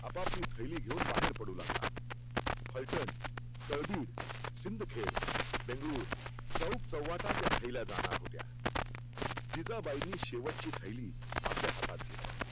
आपाआपली थैली घेऊन बाहेर पडू लागला फलटण, तळबिड, सिंधखेड, बेंगलुर चौक चौव्च्याव्हाटा त्या थैल्या जाणार होत्या. जिजाबाईंनी शेवटची थैली आपल्या हातात घेतली